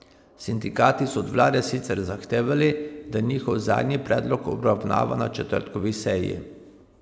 Sindikati so od vlade sicer zahtevali, da njihov zadnji predlog obravnava na četrtkovi seji.